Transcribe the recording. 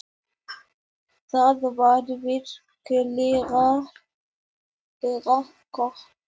Það var virkilega gott.